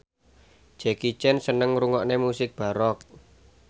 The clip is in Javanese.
Jackie Chan seneng ngrungokne musik baroque